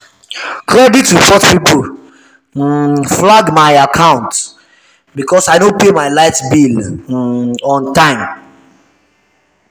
credit report people um flag my um account because i no pay my light bill um on time.